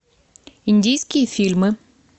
индийские фильмы